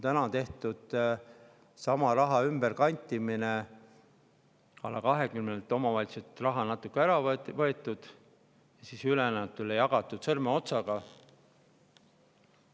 Sama raha kanditakse ümber: alla 20 omavalitsuselt on raha ära võetud ja see sõrmeotsaga ülejäänutele jagatud.